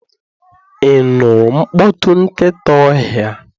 You nụrụ mkpọtụ nkịta ọhịa?